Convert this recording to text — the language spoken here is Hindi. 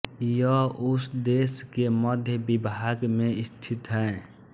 यह उस देश के मध्य विभाग में स्थित है